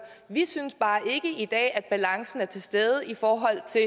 vi synes bare ikke i dag at balancen er til stede i forhold til